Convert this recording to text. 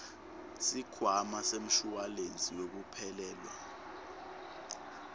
sikhwama semshuwalensi wekuphelelwa